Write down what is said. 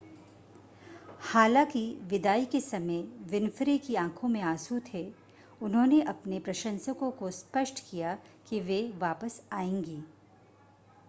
हालांकि विदाई के समय विन्फ़्रे की आंखों में आंसू थे उन्होंने अपने प्रशंसकों को स्पष्ट किया कि वे वापस आएंगी